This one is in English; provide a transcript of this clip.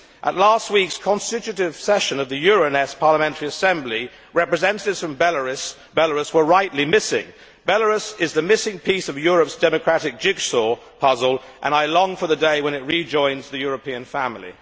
At last week's constitutive session of the Euronest Parliamentary Assembly, representatives from Belarus were rightly missing. Belarus is the missing piece of Europe's democratic jigsaw puzzle, and I long for the day when it rejoins the European family.